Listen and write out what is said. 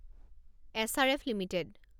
SRF limited